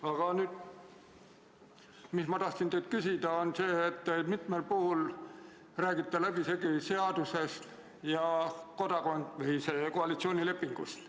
Aga mis ma teilt küsida tahtsin, on see, et te mitmel puhul räägite läbisegi seadusest ja koalitsioonilepingust.